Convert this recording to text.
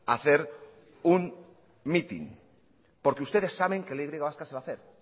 a hacer un mitin porque ustedes saben que la y vasca se va a hacer